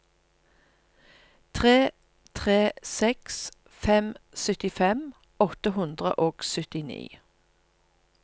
tre tre seks fem syttifem åtte hundre og syttini